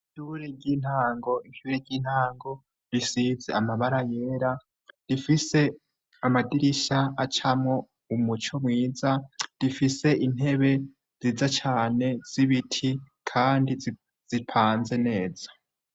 Ishure ry'intango. Ishure ry'intango risize amabara yera, rifise amadirisha acamwo umuco mwiza, rifise intebe nziza cane z'ibiti kandi zipanze neza.